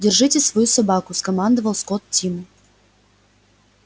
держите свою собаку скомандовал скотт тиму